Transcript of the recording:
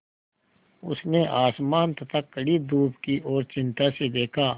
उसने आसमान तथा कड़ी धूप की ओर चिंता से देखा